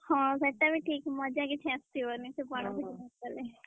ହଁ ସେଟା ବି ଠିକ୍ ମଜା କିଛି ଆସିବନି ଗଲେ।